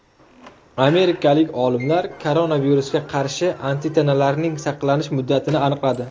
Amerikalik olimlar koronavirusga qarshi antitanalarning saqlanish muddatini aniqladi.